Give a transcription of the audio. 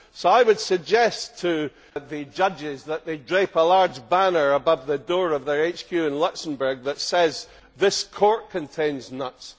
So I would suggest to the judges that they drape a large banner above the door of their HQ in Luxembourg that says This court contains nuts'.